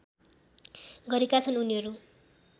गरेका छन् उनीहरू